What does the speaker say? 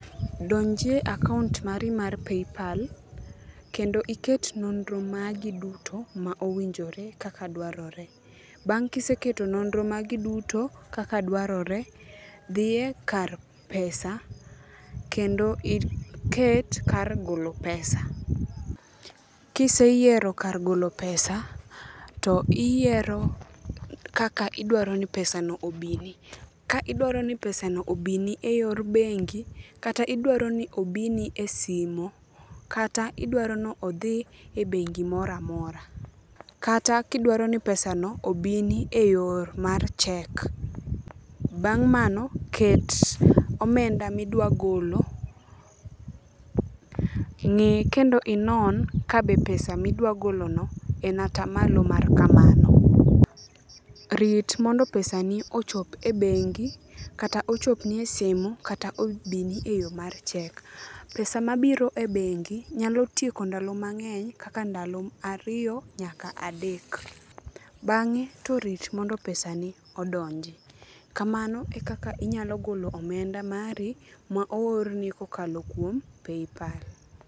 Donjie akaont mari mar PayPal, kendo iket nonro magi duto ma owinjore kaka dwarore. Bang' kiseketo nonro magi duto kaka dwarore, dhiye kar pesa kendo iket kar golo pesa. Kiseyiero kar golo pesa to iyiero kaka idwaro ni pesa no obini. Ka idwaro ni pesa no obini e yor bengi, kata idwaroni obini e simo, kata idwaroni odhi e bengi moramora, kata kidwaroni pesa no obini e yor mar cheque. Bang' mano, ket omenda midwa golo, ng'i kendo inon kabe pesa midwagolono en ata malo mar kamano. Rit mondo pesa ni ochop e bengi, kata ochopni e simu, kata obini e yo mar cheque. Pesa mabiro e bengi, nyalo tieko ndalo mang'eny kaka ndalo ariyo nyaka adek. Bang'e to rit mondo pesa ni odonji. Kamano ekaka inyalo golo omenda mari ma oorni kokalo kuom PayPal.